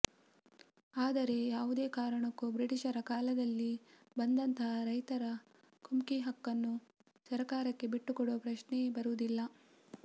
ಆದರೆ ಯಾವುದೇ ಕಾರಣಕ್ಕೂ ಬ್ರಿಟೀಷರ ಕಾಲದಲ್ಲಿ ಬಂದಂತಹ ರೈತರ ಕುಮ್ಕಿ ಹಕ್ಕನ್ನು ಸರಕಾರಕ್ಕೆ ಬಿಟ್ಟು ಕೊಡುವ ಪ್ರಶ್ನೆ ಬರುವುದಿಲ್ಲ